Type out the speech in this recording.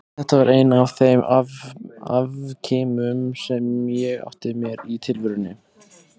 Þetta var einn af þeim afkimum sem ég átti mér í tilverunni.